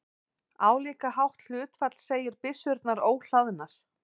Álíka hátt hlutfall segir byssurnar óhlaðnar.